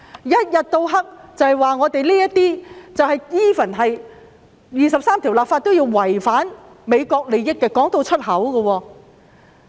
他們不斷指為《基本法》第二十三條立法違反美國利益，竟然宣諸於口。